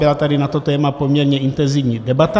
Byla tady na to téma poměrně intenzivní debata.